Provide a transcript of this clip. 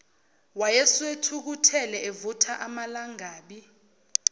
wayesethukuthele evutha amalangabi